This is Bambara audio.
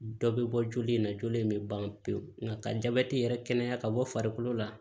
Dɔ bɛ bɔ joli in na joli in bɛ ban pewu nka jabɛti yɛrɛ kɛnɛya ka bɔ farikolo la